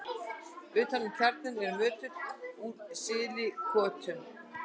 utan um kjarnann er svo möttull úr sílíkötum